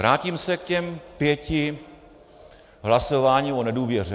Vrátím se k těm pěti hlasováním o nedůvěře.